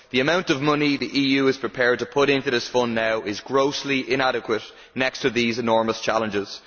The amount of money the EU is prepared to put into this fund now is grossly inadequate next to these enormous challenges.